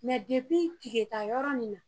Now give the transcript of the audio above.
Mɛ depi tiketayɔrɔ nin na